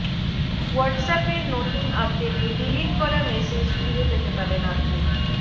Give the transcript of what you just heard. হোয়াটসঅ্যাপের নতুন আপডেটে ডিলিট করা মেসেজ ফিরে পেতে পারেন আপনি